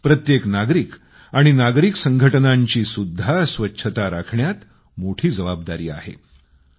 तर प्रत्येक नागरिक आणि नागरिक संघटनांचीसुद्धा स्वच्छता राखण्यात मोठी जबाबदारी आहे